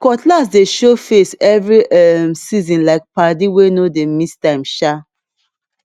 cutlass dey show face every um seasonlike padi wey no dey miss time um